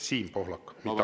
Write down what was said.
Siim Pohlak, mitte Aivar.